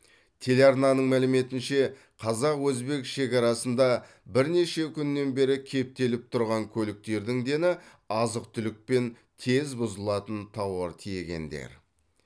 телеарнаның мәліметінше қазақ өзбек шекарасында бірнеше күннен бері кептеліп тұрған көліктердің дені азық түлік пен тез бұзылатын тауар тиегендер